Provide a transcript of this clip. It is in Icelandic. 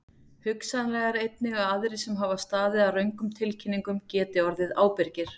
Hugsanlegt er einnig að aðrir sem hafa staðið að röngum tilkynningum geti orðið ábyrgir.